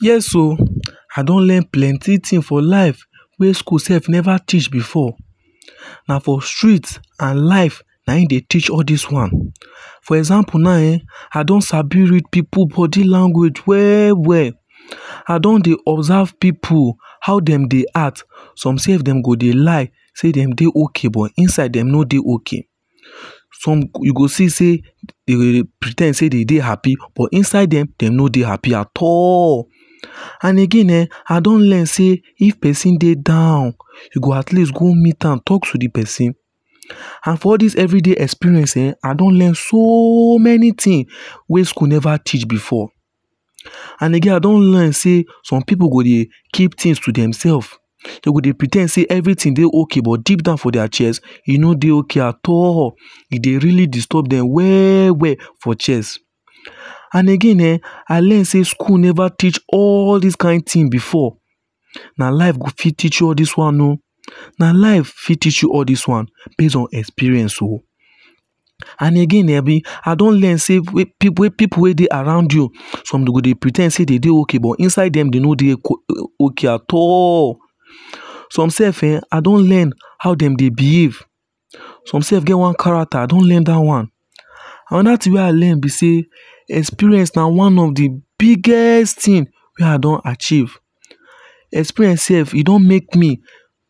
Yes oh I don learn plenty things for life wey school sef Never teach before na for street and life na im dey teach all this one. for example now eh I don Sabi read pipu body language well well I don dey observe pipu how dem dey act some sef dem go dey lie say dem dey okay but inside dem no dey okay some you go see say dem go dey pre ten d say dem dey happy but inside dem dem no dey happy at all and again eh. I don learn say if person dey down you go at least go meet am talk to the person and for all this everyday experience eh. I don learn so many thing wey school Never teach before and again I don't learn say some Pipu go dey keep things to themselves dem go dey pre ten d say everything dey okay but deep down for their chest e no dey okay at all e dey really disturb them well well for chest and again um I learn say school never teach all this kind tin before na life go fit teach you all this one oo na life fit teach you all this one base on experience oo and again abi. I don learn say pipu wey pipu wey dey around you some dey go dey pre ten d say dem dey okay but inside dem dem no dey okay at all some sef eh I don learn how dem dey behave some sef get one character. I don learn that one another thing wey I learn be say experience na one of the biggest thing wey I don achieve experience sef e don make me